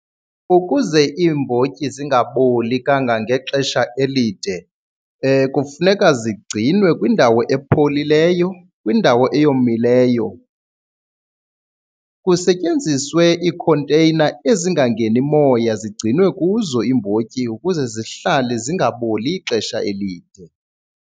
Ukuze iimbotyi zingaboli kangangexesha elide kufuneka zigcinwe kwindawo epholileyo, kwindawo eyomileyo. Kusetyenziswe iikhonteyina ezingangeni moya, zigcinwe kuzo iimbotyi ukuze zihlale zingaboli ixesha elide.